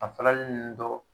A faralen dɔ